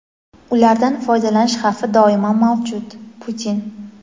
ulardan foydalanish xavfi doimo mavjud – Putin.